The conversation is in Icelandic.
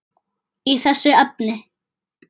í þessu efni.